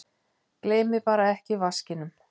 Gleymið bara ekki vaskinum!